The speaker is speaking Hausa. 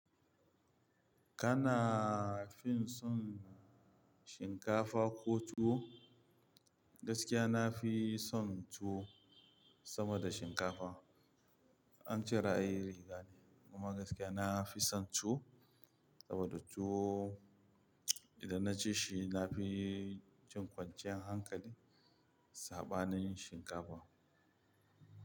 Kana fin son shinkafa ko tuwo? Gaskiya na fi son tuwo sama da shinkafa. An ce ra'ayi riga ne, kuma gaskiya na fi son tuwo saboda tuwo idan na ci shi na fi jin kwanciyar hankali saɓanin shinkafa.